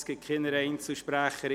Es gibt keine Einzelsprecher.